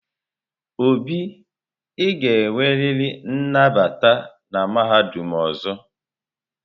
Obi, ị ga-enwerịrị nnabata na mahadum ọzọ!